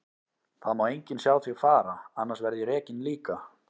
Það má enginn sjá þig fara, annars verð ég rekinn líka.